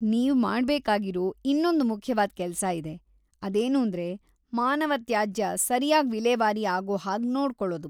ನೀವ್ ಮಾಡ್ಬೇಕಾಗಿರೋ ಇನ್ನೊಂದ್ ಮುಖ್ಯವಾದ್‌ ಕೆಲ್ಸ ಇದೆ, ಅದೇನೂಂದ್ರೆ ಮಾನವ ತ್ಯಾಜ್ಯ ಸರ್ಯಾಗ್ ವಿಲೇವಾರಿ ಆಗೋ ಹಾಗ್‌ ನೋಡ್ಕೊಳದು.